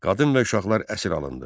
Qadın və uşaqlar əsir alındı.